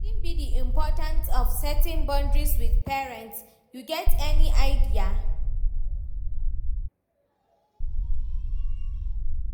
Wetin be di importance of setting boundaries with parents, you get any idea?